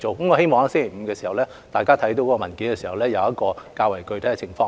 我希望議員在星期五看到文件，會知悉較為具體的情況。